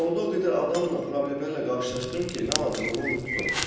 Yolda o qədər adamla, problemlərlə qarşılaşdım ki, nə alacağımı unutdum.